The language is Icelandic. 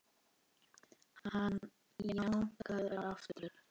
Hann jánkaði aftur.